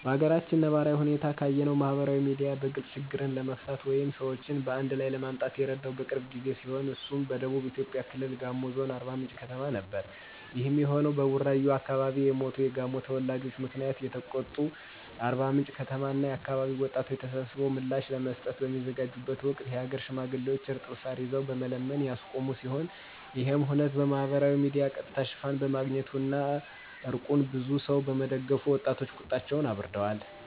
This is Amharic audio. በአገራችን ነባራዊ ሁኔታ ካየነው ማህበራዊ ሚዲያ በግልጽ ችግሮችን ለመፍታት ወይም ሰዎችን አንድላይ ለማምጣት የረዳው ቅርብ ጊዜ ሲሆን እሱም በደቡብ ኢትዮጵያ ክልል ጋሞ ዞን አርባምንጭ ከተማ ነበር። ይሄም የሆነው በቡራዩ አከባቢ የሞቱ የጋሞ ተወላጆች ምክንያት የተቆጡ የአርባምንጭ ከተማ እና አከባቢ ወጣቶች ተሰብስበው ምላሽ ለመስጠት በሚዘጋጁበት ወቅት የሀገር ሽማግሌዎች እርጥብ ሳር ይዘው በመለመን ያስቆሙ ሲሆን ይሄም ሁነት በማህበራዊ ሚዲያ ቀጥታ ሽፋን በማግኘቱ እና እርቁን ብዙ ሰው በመደገፉ ወጣቶች ቁጣቸውን አብርደዋል።